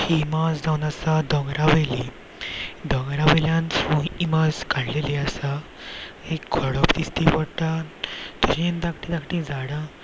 ही इमाज जावन आसा डोंगरावयली डोंगरावयल्यान फुल इमाज काडलेली आसा एक खोडोप दिश्टी पडटा तेजेन धाक्टी धाक्टी झाडा --